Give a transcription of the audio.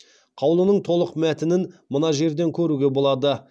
қаулының толық мәтінін мына жерден көруге болады